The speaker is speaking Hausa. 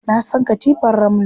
Na san katifar ramno.